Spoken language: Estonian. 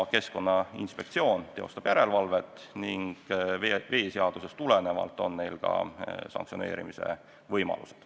Keskkonnainspektsioon teeb järelevalvet ning veeseadusest tulenevalt on neil ka sanktsioneerimise võimalused.